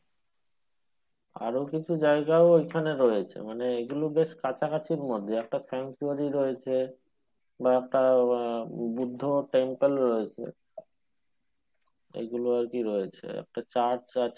আরো কিছু জায়গাও ওইখানে রয়েছে মানে এগুলো বেশ কাছাকাছির মধ্যে একটা sanctuary রয়েছে বা একটা আহ বুদ্ধ temple রয়েছে এইগুলো আরকি রয়েছে একটা church আছে